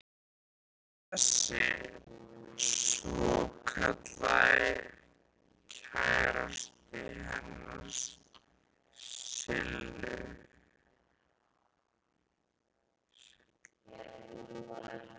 Hver er þessi svokallaði kærasti hennar Sillu?